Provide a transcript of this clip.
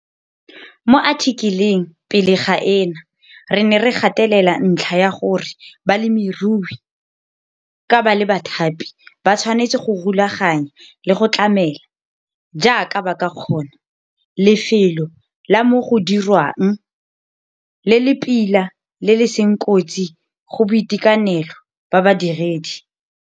Mo athikeleng pele ga ena re ne re gatelela ntlha ya gore balemirui, ka ba le bathapi, ba tshwanetse go rulaganya le go tlamela, jaaka ba ka kgona, lefelo la mo go dirwang le le pila le le seng kotsi go boitekanelo ba badiredi.